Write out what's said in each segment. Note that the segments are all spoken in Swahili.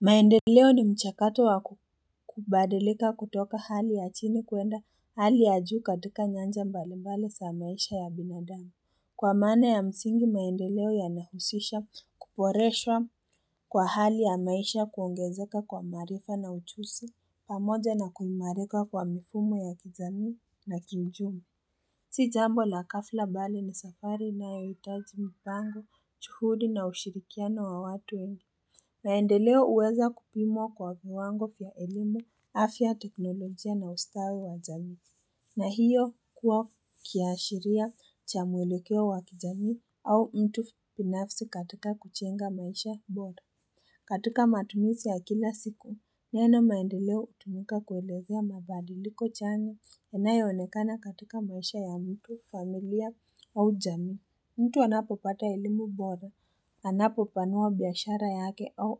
Maendeleo ni mchakato wa kubadilika kutoka hali ya chini kuenda hali ya juu katika nyanja mbalimbali za maisha ya binadami. Kwa maana ya msingi maendeleo yanahusisha kuboreshwa Kwa hali ya maisha kuongezeka kwa maarifa na ujuzi pamoja na kuimarika kwa mifumo ya kijamii na kiuchumi. Si jambo la ghafla bali ni safari inayohitaji mipango, juhudi na ushirikiano wa watu wengi. Maendeleo uweza kupimwa kwa viwango vya elimu, afya teknolojia na ustawi wa jamii. Na hiyo kuwa kiashiria cha muelekeo wa kijamii au mtu binafsi katika kujenga maisha bora. Katika matumisi ya kila siku Neno maendeleo utumika kuelezea mabadiliko cha eneo yanayoonekana katika maisha ya mtu familia au jamii mtu anapopata elimu bora, anapopanua biashara yake au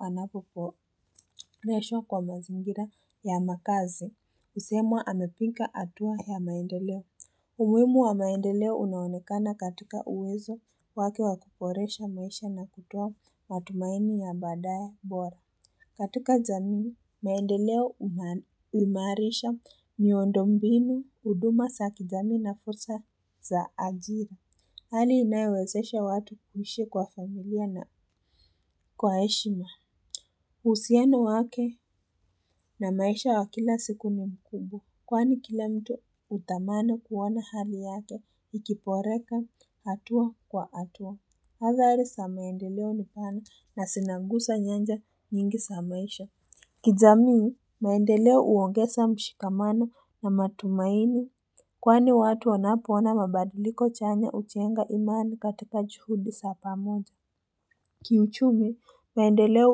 anapoboreshwa kwa mazingira ya makazi, usemwa amepiga hatua ya maendeleo. Umuhimu wa maendeleo unaonekana katika uwezo wake wakuboresha maisha na kutoa matumaini ya baadae bora. Katika jamii, maendeleo umaarisha miondo mbinu, huduma za kijamii na fursa za ajira. Hali inayowezesha watu kuhishi kwa familia na kwa heshima. Uhusiano wake na maisha ya kila siku ni mkubwa. Kwani kila mtu utamani kuona hali yake ikiboreka hatua kwa hatua. Hadhari za maendeleo nipana na zinanguza nyanja nyingi za maisha. Kijamii, maendeleo uongeza mshikamano na matumaini. Kwani watu wanapo ona mabadiliko chenye ujenga imani katika juhudi za pamoja Kiuchumi, maendeleo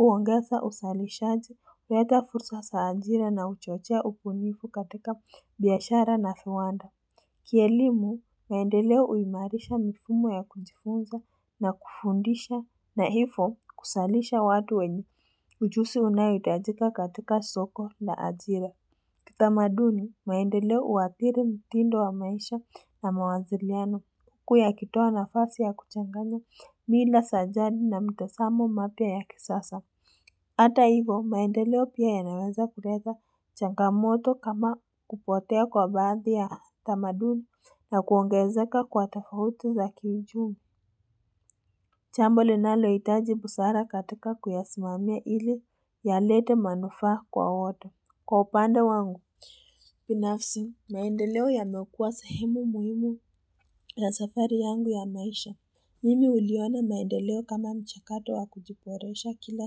uongeza uzalishaji uleta fursa za ajira na uchochea ubunifu katika biashara na viwanda, Kielimu, maendeleo huimarisha mifumo ya kujifunza na kufundisha na hivo kuzalisha watu wenye ujuzi unaohitajika katika soko na ajira Kitamaduni maendeleo huadhiri mtindo wa maisha na mawasiliano uku yakitoa nafasi ya kuchanganya mila za jani na mitazamo mapya ya kisasa. Ata hivo maendeleo pia yanaweza kuleta changamoto kama kupotea kwa baadhi ya tamaduni na kuongezeka kwa tafauti za kiuchumi. Jambo linalo itaji busara katika kuyasimamia ili yalete manufa kwa wote. Kwa upande wangu, binafsi, maendeleo yamekua sahemu muhimu ya safari yangu ya maisha. Mimi uliona maendeleo kama mchakato wa kujiboresha kila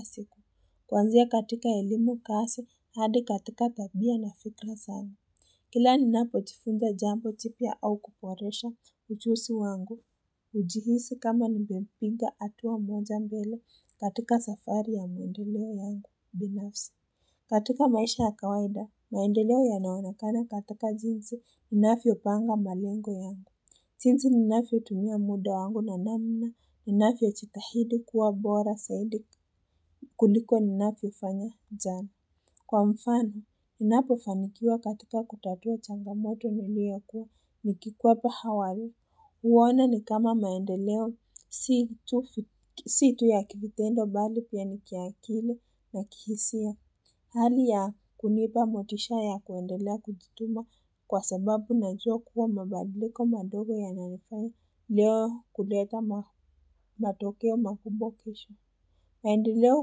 siku. Kuanzia katika elimu kazi, hadi katika tabia na fikra zangu. Kila ninapojifunza jambo jipya au kuboresha ujuzi wangu. Kujihisi kama nimepiga hatua moja mbele katika safari ya maendeleo yangu, binafsi. Katika maisha ya kawaida, maendeleo yanaonekana katika jinsi, ninavyopanga malengo yangu. Jinsi ninavyotumia muda wangu na namna, ninavyojitahidi kuwa bora zaidi kuliko ninavyofanya jana. Kwa mfano, ninapofanikiwa katika kutatua changamoto niliyokuwa nikikwepa awali. Uone ni kama maendeleo, si tu ya kiutendo bali pia nikiakili na kihisia. Hali ya kunipa motisha ya kuendelea kujituma kwa sababu najua kuwa mabadiliko madogo yanalifaya leo kuleta matokeo makubwa kesho. Maendeleo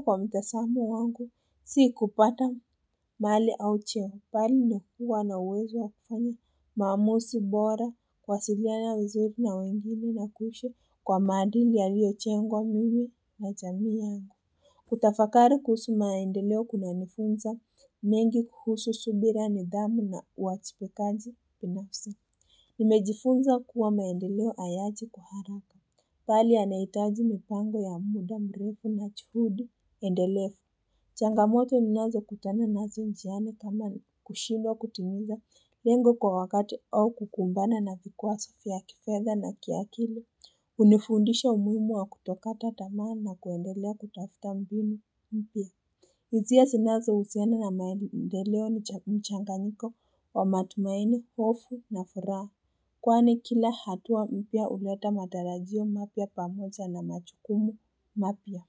kwa mtazamo wangu si kupata mali au cheo bali na huwa na uwezo wa kufanya maamuzi bora kwa kuwasiliana vizuri na wengine na kuishi kwa maadili yaliyojengwa mimi na jamii yangu. Kutafakari kuhusu maendeleo kunanifunza mengi kuhusu subira, nidhamu na uwajibikaji binafsi Nimejifunza kuwa maendeleo hayaji kwa haraka. Bali yanahitaji mipango ya muda mrefu na juhudi endelefu changamoto ninazo kutana nazi njiani kama kushindwa kutimiza lengo kwa wakati au kukumbana na vikwazo vya kifedha na kiakili unifundisha umuhimu wa kutokata tamaa na kuendelea kutafuta mbinu mpia. Hisia sinazohusiana na maendeleo na mchanganyiko wa matumaini, hofu na furaha Kwani kila hatua mpya huleta matarajio mapya pamoja na majukumu mapya.